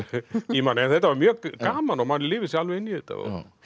í manni en þetta var mjög gaman og maður lifir sig alveg inn í þetta